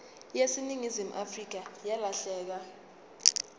yaseningizimu afrika yalahleka